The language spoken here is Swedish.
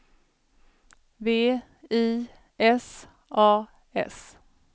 V I S A S